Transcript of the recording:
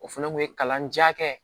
O fana kun ye kalanja kɛ